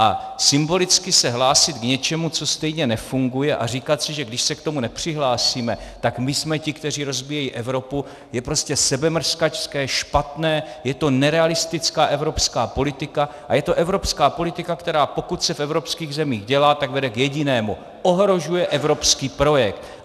A symbolicky se hlásit k něčemu, co stejně nefunguje, a říkat si, že když se k tomu nepřihlásíme, tak my jsme ti, kteří rozbíjejí Evropu, je prostě sebemrskačské, špatné, je to nerealistická evropská politika a je to evropská politika, která pokud se v evropských zemích dělá, tak vede k jedinému - ohrožuje evropský projekt!